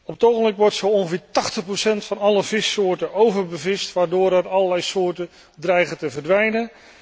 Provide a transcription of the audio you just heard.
Op het ogenblik wordt ongeveer tachtig procent van alle vissoorten overbevist, waardoor er allerlei soorten dreigen te verdwijnen.